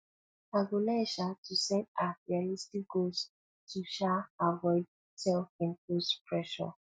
i go learn um to set um realistic goals to um avoid selfimposed pressure